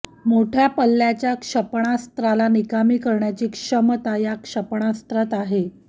मोठ्या पल्ल्याच्या क्षेपणास्त्राला निकामी करण्याची क्षमता या क्षेपणास्त्रात आहे